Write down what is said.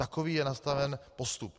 Takový je nastaven postup.